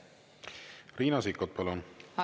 Riina Sikkut, palun!